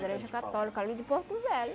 igreja católica ali de Porto Velho.